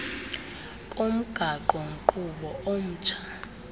komgaqo nkqubo omtsha